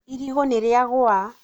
irigũ nĩrĩagũa